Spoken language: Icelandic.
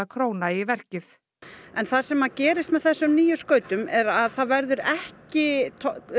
króna í verkið það sem að gerist með þessum nýju skautum er að það verður ekki